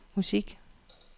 musik